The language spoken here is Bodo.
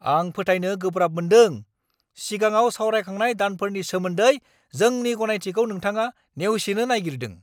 आं फोथायनो गोब्राब मोन्दों सिगाङाव सावरायखांनाय दानफोरनि सोमोन्दै जोंनि गनायथिखौ नोथाङा नेवसिनो नायगिरदों!